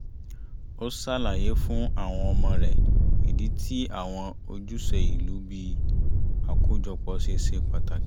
ó ṣàlàyé fún àwọn ọmọ rẹ̀ ìdí tí àwọn ojúṣe ìlú bí i àkójọpọ̀ ṣe ṣe pàtàkì